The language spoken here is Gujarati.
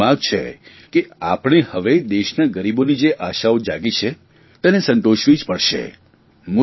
સમયની માંગ છે કે આપણે હવે દેશના ગરીબોની જે આશાઓ જાગી છે તેને સંતોષવી જ પડશે